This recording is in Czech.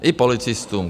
I policistům.